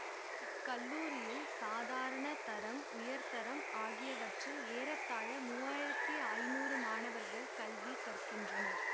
இக்கல்லூரியில் சாதாரண தரம் உயர் தரம் ஆகியவற்றில் ஏறத்தாழ மூவாயிரத்தி ஐநூறு மாணவர்கள் கல்வி கற்கின்றனர்